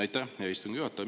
Aitäh, hea istungi juhataja!